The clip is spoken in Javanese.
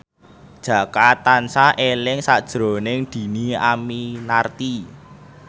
Jaka tansah eling sakjroning Dhini Aminarti